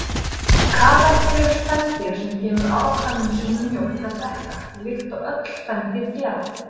Kameldýr eru spendýr sem gefur afkvæmum sínum mjólk að drekka, líkt og öll spendýr gera.